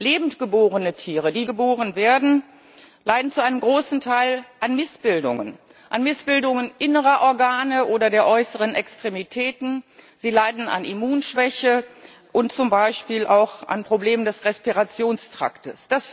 Lebend geborene Tiere die wenigen, die lebend geboren werden, leiden zu einem großen Teil an Missbildungen, an Missbildungen innerer Organe oder der äußeren Extremitäten, sie leiden an Immunschwäche und zum Beispiel auch an Problemen des Respirationstraktes.